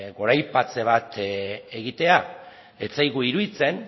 goraipatze bat egitea ez zaigu iruditzen